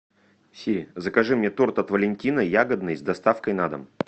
сири закажи мне торт от валентина ягодный с доставкой на дом